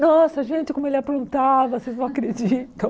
Nossa, gente, como ele aprontava, vocês não acreditam.